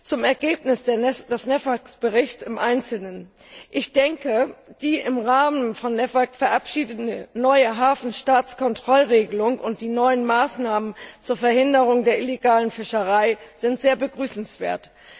Zum Ergebnis des NEAFK Berichts im Einzelnen Ich denke, die im Rahmen von NEAFK verabschiedete neue Hafenstaatkontrollregelung und die neuen Maßnahmen zur Verhinderung der illegalen Fischerei sind sehr begrüßenswert.